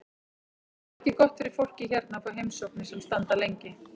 Það er ekki gott fyrir fólkið hérna að fá heimsóknir sem standa lengi.